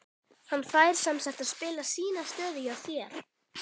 Hann fær semsagt að spila sína stöðu hjá þér?